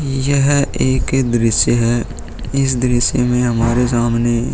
यह एक दृश्य है। इस दृश्य में हमारे सामने --